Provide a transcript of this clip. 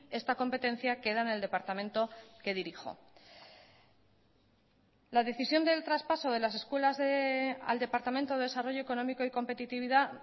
esta competencia queda en el departamento que dirijo la decisión del traspaso de las escuelas al departamento de desarrollo económico y competitividad